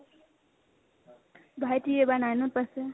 ভাইটি এইবাৰ nine ত পাইছে